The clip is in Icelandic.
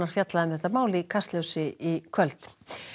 fjallað um þetta mál í Kastljósi í kvöld